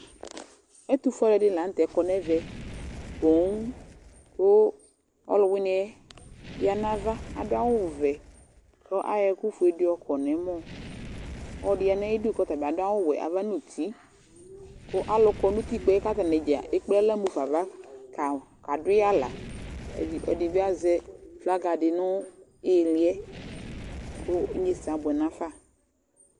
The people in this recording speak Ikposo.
Ɛtʋfue alʋɛdɩnɩ la nʋ tɛ kɔ nʋ ɛvɛ poo kʋ ɔlʋwɩnɩ yɛ ya nʋ ava Adʋ awʋvɛ kʋ ayɔ ɛkʋfue dɩ yɔkɔ nʋ ɛmɔ Ɔlɔdɩ ya nʋ ayidu kʋ ɔta bɩ adʋ awʋwɛ ava nʋ uti kʋ alʋ kɔ nʋ uttikpǝ yɛ kʋ atanɩ dza ekple aɣla mu fa ava ka kadʋ yɩ aɣla Ɛdɩ, ɛdɩ bɩ azɛ flaga dɩ nʋ ɩɩlɩ yɛ kʋ inyesɛ abʋɛ nafa